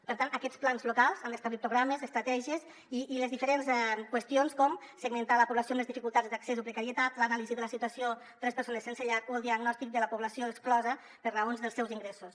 per tant aquests plans locals han d’establir programes estratègies i les diferents qüestions com segmentar la població en les dificultats d’accés o precarietat l’anàlisi de la situació de les persones sense llar o el diagnòstic de la població exclosa per raons dels seus ingressos